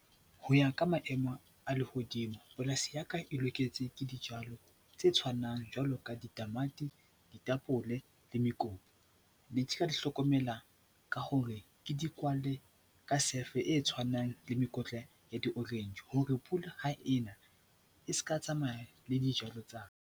Ho ya ka maemo a lehodimo, polasi ya ka e loketse ke dijalo tse tshwanang jwalo ka ditamati, ditapole le mekopu. di hlokomela ka hore ke di kwale ka sefe e tshwanang le mekotla ya di-orange hore ha pula e na e ska tsamaya le dijalo tsa ka.